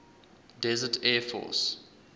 desert air force